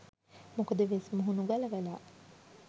මොකද වෙස් මුහුණු ගලවලා